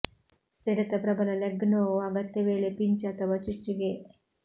ಸೆಡೆತ ಪ್ರಬಲ ಲೆಗ್ ನೋವು ಅಗತ್ಯ ವೇಳೆ ಪಿಂಚ್ ಅಥವಾ ಚುಚ್ಚು ಗೆ